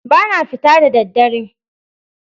Ba na fita da ɗaddare.